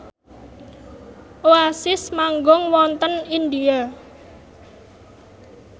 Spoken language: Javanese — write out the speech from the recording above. Oasis manggung wonten India